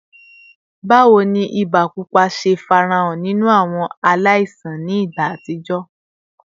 Bawo ni iba pupa ṣe farahan ninu awọn alaisan ni igba atijọ?